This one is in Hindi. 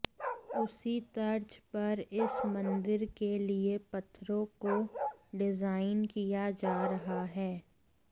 उसी तर्ज पर इस मंदिर के लिए पत्थरों को डिजाइन किया जा रहा है